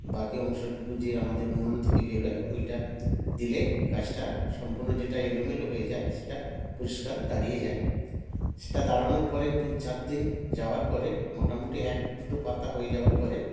বাকি অংশটুকু যে আমাদের উনন থেকে বেড়োয় ঐটা দিলে কাজটা সম্পন্ন যেটা এলোমেলো হয়ে যায় সেটা পরিস্কার দাঁড়িয়ে যায় সেটা দাঁড়ানোর পরে দুচার দিন যাওয়ার পরে মোটামুটি এক দুটো পাতা হয়ে যাওয়ার পরে